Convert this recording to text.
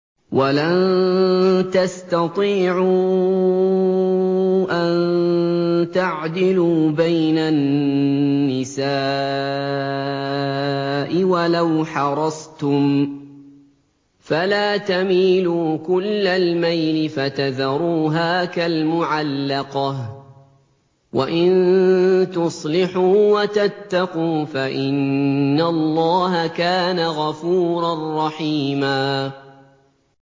وَلَن تَسْتَطِيعُوا أَن تَعْدِلُوا بَيْنَ النِّسَاءِ وَلَوْ حَرَصْتُمْ ۖ فَلَا تَمِيلُوا كُلَّ الْمَيْلِ فَتَذَرُوهَا كَالْمُعَلَّقَةِ ۚ وَإِن تُصْلِحُوا وَتَتَّقُوا فَإِنَّ اللَّهَ كَانَ غَفُورًا رَّحِيمًا